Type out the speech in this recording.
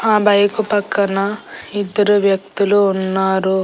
ఆ బైకు పక్కన ఇద్దరు వ్యక్తులు ఉన్నారు.